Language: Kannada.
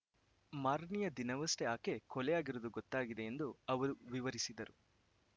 ಮಾರನೆಯ ದಿನವಷ್ಟೇ ಆಕೆ ಕೊಲೆಯಾಗಿರುವುದು ಗೊತ್ತಾಗಿದೆ ಎಂದು ಅವರು ವಿವರಿಸಿದರು